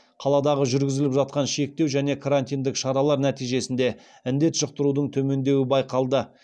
қаладағы жүргізіліп жатқан шектеу және карантиндік шаралар нәтижесінде індет жұқтырудың төмендеуі байқалды